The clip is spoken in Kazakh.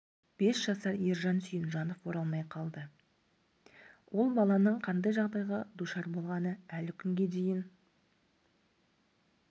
бес жасар ержан сүйінжанов оралмай қалды ол баланың қандай жағдайға душар болғаны әлі күнге дейін